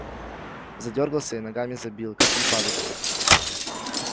задёргался и ногами забил как припадочный